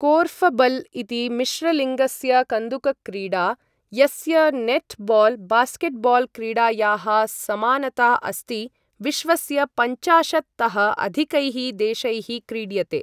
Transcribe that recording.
Korfball इति मिश्रलिङ्गस्य कन्दुकक्रीडा, यस्य नेटबॉल बास्केटबॉल क्रीडायाः समानता अस्ति, विश्वस्य पञ्चाशत् तः अधिकैः देशैः क्रीड्यते ।